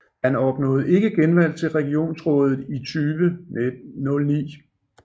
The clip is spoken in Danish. Han opnåede ikke genvalg til regionsrådet i 2009